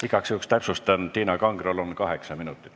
Igaks juhuks täpsustan, et Tiina Kangrol on aega kokku kaheksa minutit.